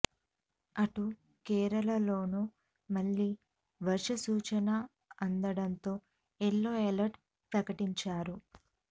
అటు కేరళలోనూ మళ్లీ వర్ష సూచన అందడంతో ఎల్లో ఎలర్ట్ ప్రకటించారు